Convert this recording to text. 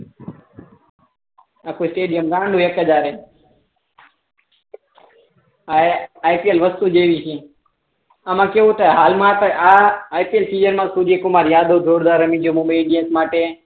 આખો સ્ટેડીયમ આ આઇપીએલ વસ્તુ જ એવી છે આમાં કેવું છે હાલ મા અત્યારે આ આઇપીએલ સીઝન મા સૂર્ય કુમાર યાદવ જોરદાર રમી ગયો મુંબઈ ઇન્ડિયન માટે